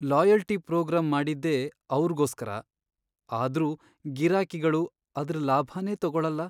Loyalty programme ಮಾಡಿದ್ದೇ ಅವ್ರ್ಗೋಸ್ಕರ ಆದ್ರೂ ಗಿರಾಕಿಗಳು ಅದ್ರ್ ಲಾಭನೇ ತಗೊಳಲ್ಲ.